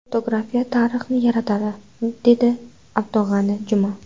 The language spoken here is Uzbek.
Fotografiya tarixni yaratadi”, dedi Abdug‘ani Juma.